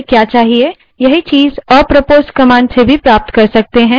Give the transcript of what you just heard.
यही चीज़ apropos command का उपयोग कर भी प्राप्त कर सकते हैं